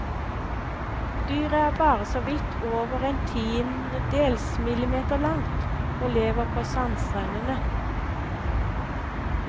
Dyret er bare såvidt over en tiendedels millimeter langt, og lever på sandstrendene.